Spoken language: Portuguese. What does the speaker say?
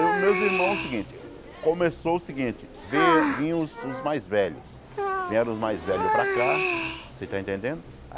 Eu, meus irmãos o seguinte, começou o seguinte, vei vinham os mais velhos, vieram os mais velhos para cá, você está entendendo?